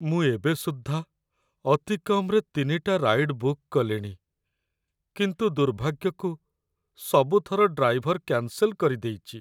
ମୁଁ ଏବେ ସୁଦ୍ଧା ଅତି କମ୍‌ରେ ୩ଟା ରାଇଡ୍‌ ବୁକ୍ କଲିଣି, କିନ୍ତୁ, ଦୁର୍ଭାଗ୍ୟକୁ ସବୁ ଥର ଡ୍ରାଇଭର୍‌‌‌ କ୍ୟାନ୍‌ସେଲ କରିଦେଇଚି ।